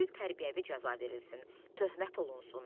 Yüngül tərbiyəvi cəza verilsin, töhmət olunsun.